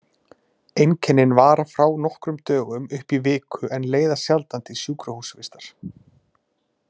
Einkennin vara frá nokkrum dögum upp í viku en leiða sjaldan til sjúkrahúsvistar.